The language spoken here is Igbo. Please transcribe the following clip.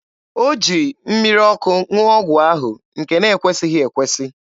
O ji mmiri ọkụ ṅụọ ọgwụ ahụ, nke na-ekwesịghị ekwesị.